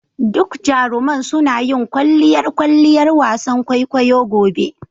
Duk jaruman suna yin kwalliyar kwalliyar wasan kwaikwayo gobe.